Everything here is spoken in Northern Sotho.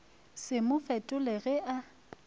se mo fetole ge a